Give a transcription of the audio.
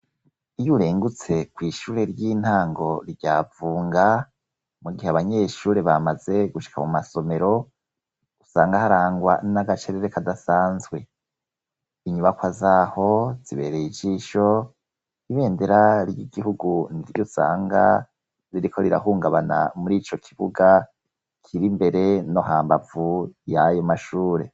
Iyo urengutse ku ishuri ry'intango rya vunga, mu gihe abanyeshure bamaze gushika mu masomero usanga harangwa n'agacerere kadasanzwe. Inyubakwa zaho zibereye ijisho ibendera ry'igihugu niryo usanga ziriko rirahungabana muri ico kibuga kiri mbere no hambavu y'ayo mashure.